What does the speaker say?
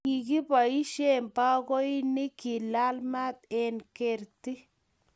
Kikiboisien bakoinik kelal maat eng' kerti